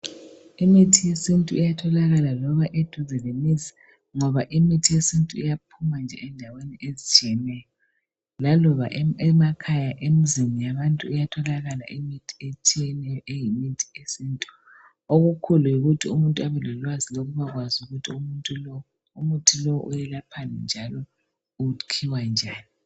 Imithi yesintu iyatholakala loba eduze lemizi., ngoba imithi yesintu iyaphuma nje endaweni ezitshiyeneyo. Laloba emakhaya, emzini yabantu iyatholakala imithi etshiyeneyo, eyimithi yesintu., Okukhulu yikuthi umuntu abelolwazi lokubakwazi ukuthi umuthi lo uwelaphani, njalo ukhiwa njani.